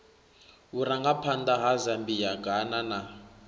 vhurangaphanḓa ha zambia ghana na